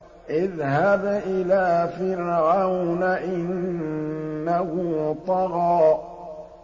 اذْهَبْ إِلَىٰ فِرْعَوْنَ إِنَّهُ طَغَىٰ